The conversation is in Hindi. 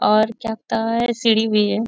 और क्या तो है ? सीढ़ी भी है।